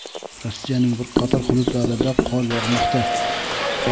Rossiyaning bir qator hududlarida qor yog‘moqda.